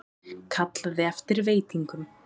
Kallaði eftir veitingum.